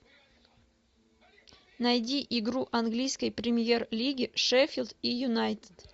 найди игру английской премьер лиги шеффилд и юнайтед